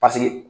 Paseke